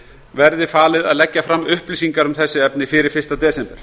verði falið að leggja fram upplýsingar um þetta efni fyrir fyrsta desember